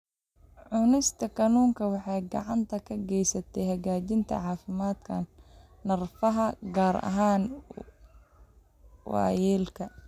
Cunista kalluunka waxay gacan ka geysataa hagaajinta caafimaadka neerfaha, gaar ahaan waayeelka.